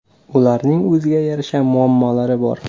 Ularning o‘ziga yarasha muammolari bor.